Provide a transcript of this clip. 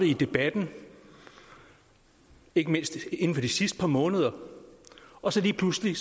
i debatten ikke mindst inden for de sidste par måneder og så lige pludselig